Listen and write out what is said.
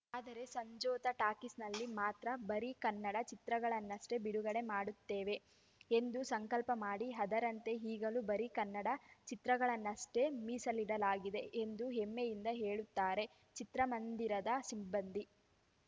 ಆದರೆ ಸಂಜೋತಾ ಟಾಕೀಸ್‌ನಲ್ಲಿ ಮಾತ್ರ ಬರೀ ಕನ್ನಡ ಚಿತ್ರಗಳನ್ನಷ್ಟೇ ಬಿಡುಗಡೆ ಮಾಡುತ್ತೇವೆ ಎಂದು ಸಂಕಲ್ಪ ಮಾಡಿ ಅದರಂತೆ ಈಗಲೂ ಬರೀ ಕನ್ನಡ ಚಿತ್ರಗಳನ್ನಷ್ಟೇ ಮೀಸಲಿಡಲಾಗಿದೆ ಎಂದು ಹೆಮ್ಮೆಯಿಂದ ಹೇಳುತ್ತಾರೆ ಚಿತ್ರಮಂದಿರದ ಸಿಬ್ಬಂದಿ